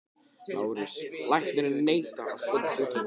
LÁRUS: Læknirinn neitar að skoða sjúklinginn.